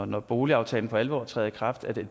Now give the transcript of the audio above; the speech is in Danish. når boligaftalen for alvor træder i kraft vil